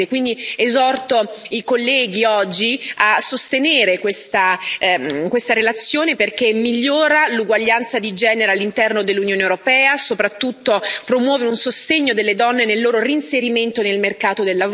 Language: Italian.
Quindi esorto i colleghi oggi a sostenere questa relazione, perché migliora l'uguaglianza di genere all'interno dell'Unione europea, e soprattutto promuove un sostegno delle donne nel loro reinserimento nel mercato del lavoro.